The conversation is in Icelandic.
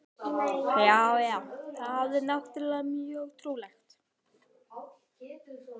Já, já, það er náttúrlega mjög trúlegt.